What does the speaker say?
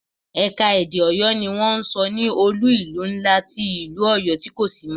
Ẹ̀ka-èdè Ọyọ ni wọ́n ń sọ ní olú-ìlú ńlá ti ìlú Ọyọ tí kò sí mọ́.